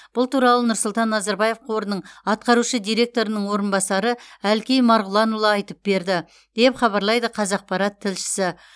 бұл туралы нұрсұлтан назарбаев қорының атқарушы директорының орынбасары әлкей марғұланұлы айтып берді деп хабарлайды қазақпарат тілшісі